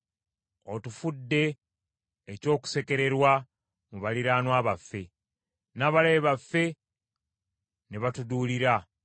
Otufudde eky’okusekererwa mu baliraanwa baffe, n’abalabe baffe ne batuduulira.